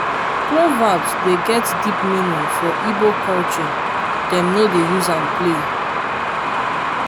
proverbs dey get deep meaning for igbo culture dem no dey use am play.